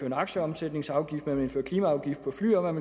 en aktieomsætningsafgift man ville indføre klimaafgift på fly og man